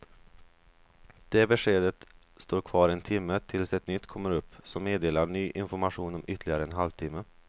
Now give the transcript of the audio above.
Det beskedet står kvar en timme tills ett nytt kommer upp som meddelar ny information om ytterligare en halv timme.